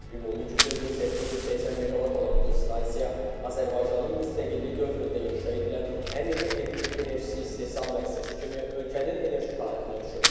Ümumi gücü 1880 meqavat olan bu stansiya Azərbaycanın müstəqillik dövründə inşa edilən ən iri elektrik enerjisi istehsal müəssisəsi kimi ölkənin enerji tarixinə düşüb.